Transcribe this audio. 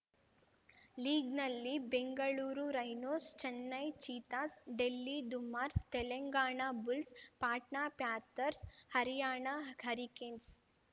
ಲೀಗ್‌ನಲ್ಲಿ Bengaluru Rhinos Chennai Cheetahs Delhi ದುಮಾರ್ಸ್ Telangana Bulls Patna Panthers Haryana hurricanes